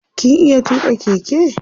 kin iya tuka Keke?